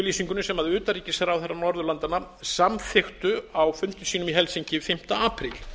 samstöðuyfirlýsingunni sem utanríkisráðherrar norðurlandanna samþykktu á fundi sínum í helsinki fimmti apríl